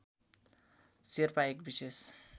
शेर्पा एक विशेष